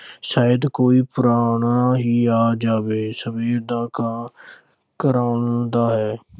ਸ਼ਾਇਦ ਕੋਈ ਪ੍ਰਾਹੁਣਾ ਹੀ ਆ ਜਾਵੇ। ਸਵੇਰ ਦਾ ਕਾਂ ਕੁਰਲਾਉਂਦਾ ਹੈ।